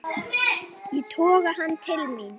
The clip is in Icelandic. Ég toga hann til mín.